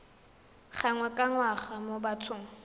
gangwe ka ngwaga mo bathong